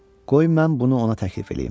Qoy mən bunu ona təklif eləyim.